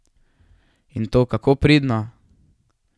In to kako pridno!